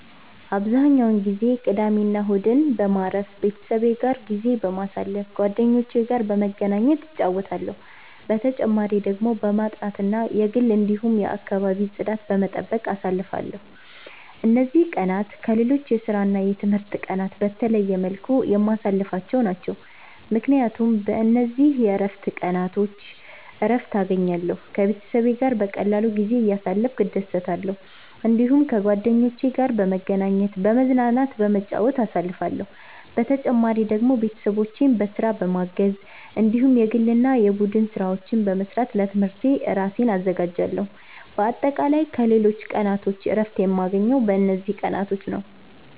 አብዛኛውን ጊዜ ቅዳሜና እሁድን በማረፍ፣ ቤተሰቤ ጋር ጊዜ በማሳለፋ ጓደኞቼ ጋር በመገናኘት እጫወታለሁ። በተጨማሪ ደግሞ በማጥናት እና የግል እንዲሁም የአከባቢ ጽዳት በመጠበቅ አሳልፍለሁ። እነዚህ ቀናት ከሌሎች የስራና የትምህርት ቀናት በተለየ መልኩ የማሳልፍቸው ናቸው፣ ምክንያቱም በእነዚህ የእረፍት ቀናቾች እረትን እገኛለሁ። ከቤተሰቤ ጋር በቀላሉ ጊዜ እያሳለፍኩ እደሰታለሁ። እዲሁም ከጓደኞቼ ጋር በመገናኘት፤ በመዝናናትና በመጫወት አሳልፍለሁ። በተጨማሪ ደግሞ ቤተሰቦቼን በስራ በማገዝ እንዲሁም የግል እና የቡድን ስራዎች በመስራት ለትምህርቴ እራሴን አዘጋጃለሁ። በአጠቃላይ ከሌሎች ቀናቶች እረፍት የማገኘው በእነዚህ ቀናቶች ነዉ።